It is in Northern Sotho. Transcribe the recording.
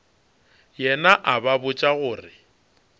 yena a ba botša gore